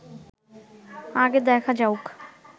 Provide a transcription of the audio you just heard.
আগে দেখা যাউক